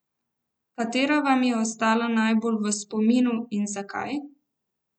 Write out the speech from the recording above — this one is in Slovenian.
Katera vam je ostala najbolj v spominu in zakaj?